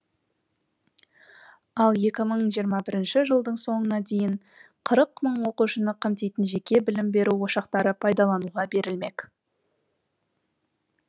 ал екі мың жиырма бірінші жылдың соңына дейін қырық мың оқушыны қамтитын жеке білім беру ошақтары пайдалануға берілмек